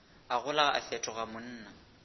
a gola a fetoga monna